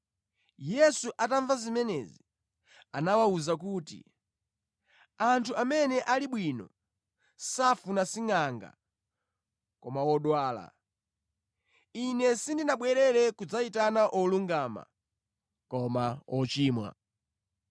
Yesu atamva zimenezi, anawawuza kuti, “Anthu amene ali bwino safuna singʼanga koma odwala. Ine sindinabwere kudzayitana olungama, koma ochimwa.”